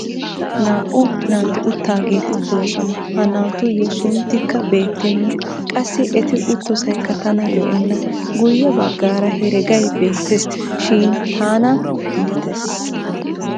naa'u naati uttidaageeti doosona. ha naatuyo sunttikka beetenna. qassi eti uttosaykka tana lo'enna. guyye baggaara heregay beettees. shin tana iittres.